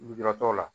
Lujuratɔw la